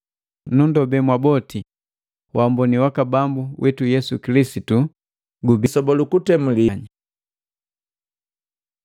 Nundobe mwaboti wamboni waka Bambu witu Yesu Kilisitu gubiya pamu na mwanganya.